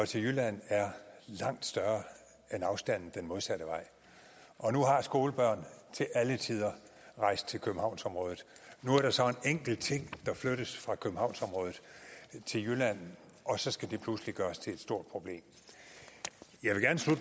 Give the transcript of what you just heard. til jylland er langt større end afstanden den modsatte vej og nu har skolebørn til alle tider rejst til københavnsområdet nu er der så en enkelt ting der flyttes fra københavnsområdet til jylland og så skal det pludselig gøres til et stort problem